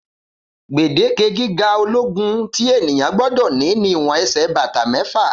gbèdeke gíga ológun tí ènìyàn gbódò ní ni ìwọn ẹsẹ bàtà méfà